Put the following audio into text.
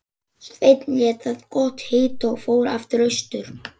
Sveinn lét það gott heita og fór aftur austur.